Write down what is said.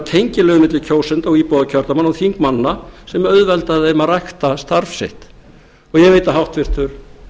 tengiliður milli kjósenda og íbúa kjördæmanna og þingmannanna sem auðveldaði þeim að rækta starf sitt og ég veit að háttvirtur